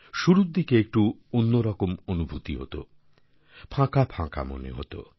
শুরুর দিকে একটু অন্যরকম অনুভূতি হত ফাঁকা ফাঁকা মনে হতো